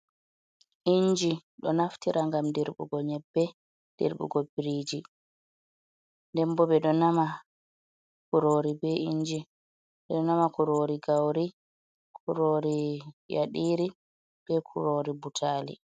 Inji ɗo naftira ngam dirɓugo nyebbe, dirɓugo biriji, nden bo ɓeɗo nama kurori be inji, ɓeɗo nama kurori gauri, kurori yaɗiri, be kurori butali.